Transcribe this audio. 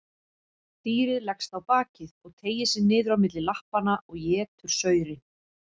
Dýrið leggst á bakið og teygir sig niður á milli lappanna og étur saurinn.